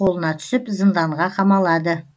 қолына түсіп зынданға қамалады